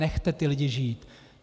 Nechte ty lidi žít.